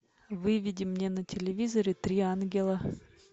выведи мне на телевизоре три ангела